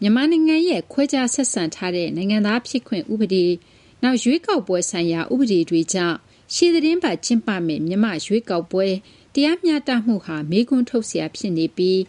မြန်မာနိုင်ငံရဲ့ ခွဲခြားဆက်ဆံထားတဲ့ နိုင်ငံသားဖြစ်ခွင့် ဥပဒေ၊ နောက် ရွေးကောက်ပွဲဆိုင်ရာ ဥပဒေတွေကြောင့် ရှေ့သီတင်းပတ် ကျင်းပမယ့် မြန်မာ့ရွေးကောက်ပွဲ တရားမျှတမှုဟာ မေးခွန်းထုတ်စရာ ဖြစ်နေပြီး